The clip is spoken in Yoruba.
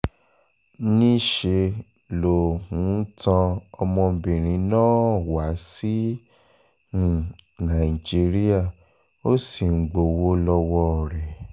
níṣẹ́ ló um tan ọmọbìnrin náà wá sí um nàìjíríà ó sì ń gbowó lọ́wọ́ rẹ̀